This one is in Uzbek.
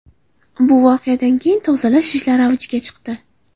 Bu voqeadan keyin tozalash ishlari avjiga chiqdi.